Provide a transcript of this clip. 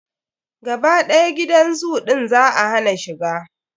Gaba ɗaya gidan zoo ɗin za a hana shiga.